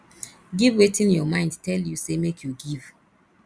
give wetin your mind tell you say make you give